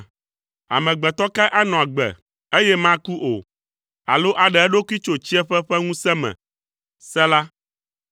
Amegbetɔ kae anɔ agbe, eye maku o, alo aɖe eɖokui tso tsiẽƒe ƒe ŋusẽ me? Sela